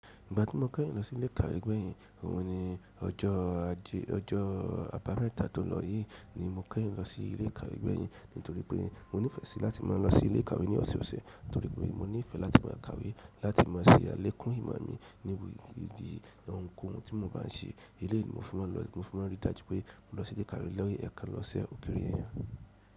Ìgbà tí mo kẹ́yìn lọ sí ilé ìkàwé gbẹ̀yìn, ó hun ní ọjọ́ ajẹ́ ọjọ́ abámẹ́ta tó lọ yìí ni mo kẹ́yìn lọ sí ilé ìkàwé gbẹ̀yìn nítorí pé mo nífẹ̀ẹ́ sí láti máa lọ sí ilé ìkàwé ní ọ̀sọ̀ọ̀sẹ̀ nítorí pé mo nífẹ̀ẹ́ láti máa kàwé láti máa ṣe àlékún ìmọ̀ mi níbi ìdí ohùn tí mo bá n ṣe. Elé yìí ni mo fi máa lọ, mo fi máa rí i dájú pé mo lọ sí ilé ìkàwé lẹ́yìn ẹ̀kan lọ́sẹ̀ ókéré yẹn.